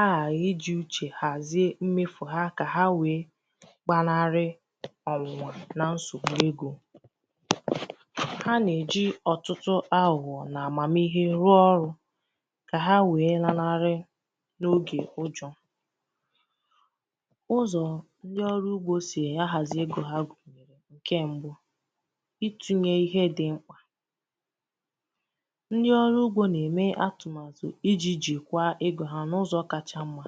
a gàghị̀ ijī uchè hàzie mmefù ha kà nwee gbanarị ọ̀nwụ̀nwà na nsògbu egō ha nà-èji ọ̀tụtụ agụ̀gọ̀ nà m̀màmihe rụọ ọrụ̄ kà ha wee lalarị n’oge ụjọ ụzọ̀ ndi ọrụ sì ahàzi egō ha gụ̀nyèrè ǹkè mbụ̄ itūnyē ihe dị̀ mkpà ndi ọrụ ugbō nà-ème atụ̀màtụ̀ ijī jikwaa egō ha n’ụzọ̀ kacha mmā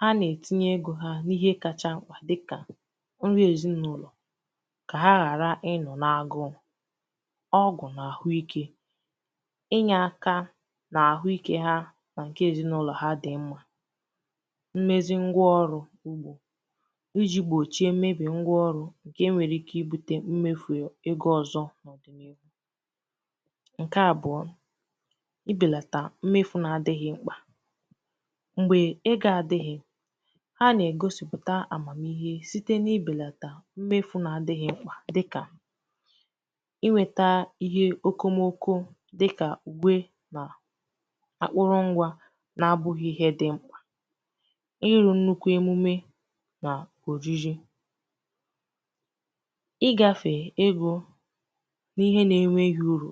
ha nà-ètinye egō ha n’ihe kacha mkpà dịkà nri èzinaụlọ̀ kà ha ghàra ịnọ̀ nà agụụ ọgwụ̀ nà àhụikē i nyēaka n’àhụike ha nà ǹkè èzinaụlọ̀ dị mmā mmezi ngwa ọrụ̄ ugbō ijī gb̀ochie mmebì ngwa ọrụ ǹkè nwere ike ibūtē mmefù egō ọzọ̄ n’ọ̀dị̀naihu ǹkè àbụọ ibèlàtà mmefù na-adị̄ghị̄ mkpà m̀gbè egō adị̄ghị̄ ha nà-ègosipụ̀ta àmàmihe site ibèlàtà mmefù na-adị̄ghị̄ mkpà dịkà iwèta ihe okomoko dịkà ùwe nà akpụrụ ngwa na-abụ̄ghị̄ ihe dị̀ mkpà ịrụ̄ nnukwu emume nà òriri i gāfè egō n’ihe na-enwēghī urù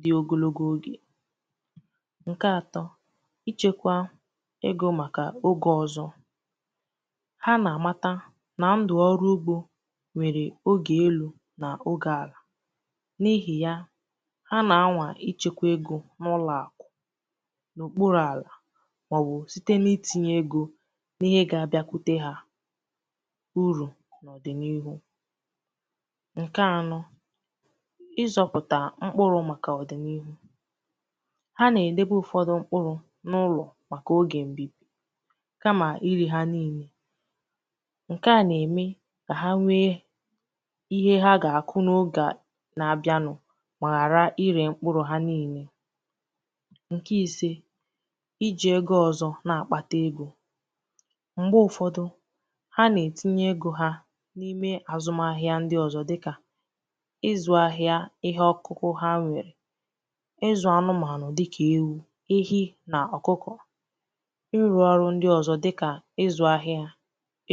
dị̀ ogologo ogè ǹkè atọ̄ ichēkwā egō màkà ogè ọzọ ha nà-àmata nà ndụ̀ ọrụ ugbo nwèrè ogè elū nà ogè àlà n’ihì ya ha nà-anwà ichēkwā egō n’ụlọ̀àkụ̀ n’òkpurū àlà màọbụ̀ site n’itīnyē egō n’ihe ga-abịakwute ha urù n’ọ̀dị̀naihu ǹkè ànọ ịzọ̄pụ̀tà mkpụrụ̄ màkà ọ̀dị̀naihu ha nà-èdebe ụ̀fọdụ mkpụrụ̄ n’ụlọ̀ màkà ogè kamà irē ha niilē ǹkè a nà-ème kà ha nwee ihe ha gà-àkụ n’ogè na-abịanụ mà ghàra irē mkpụrụ̄ ha niilē ǹkè ìse ijī ego ọzọ̄ na-àkpata egō m̀gbè ụ̀fọdụ ha na-ètinye egō ha n’ime àzumahịa ndi ọzọ̄ dikà ịzụ̄ ahịa ihe ọ̀kụkụ ha nwèrè ịzụ̀ anụmànụ̀ dịkà ewu, ehi nà ọ̀kụkọ̀ ịrụ̄ ọrụ ndi ọzọ̄ dịkà izū ahịa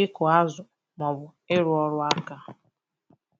ịkụ̀ azụ̀ màọbụ̀ ịrụ̄ ọrụakā